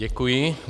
Děkuji.